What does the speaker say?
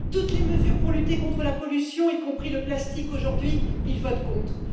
toutes les mesures pour lutter contre la pollution, y compris le plastique aujourd'hui, ils votent contre